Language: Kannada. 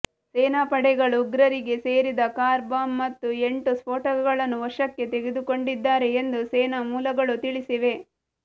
ಸೇನಾಪಡೆಗಳು ಉಗ್ರರಿಗೆ ಸೇರಿದ ಕಾರ್ ಬಾಂಬ್ ಮತ್ತು ಎಂಟು ಸ್ಫೋಟಕಗಳನ್ನು ವಶಕ್ಕೆ ತೆಗೆದುಕೊಂಡಿದ್ದಾರೆ ಎಂದು ಸೇನಾ ಮೂಲಗಳು ತಿಳಿಸಿವೆ